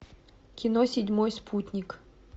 кино седьмой спутник